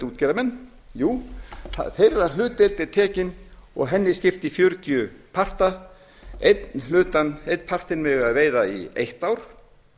útgerðarmenn jú þeirra hlutdeild er tekin og henni skipt í fjörutíu parta einn partinn mega þeir veiða í eitt ár